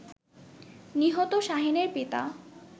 নিহত শাহীনের পিতা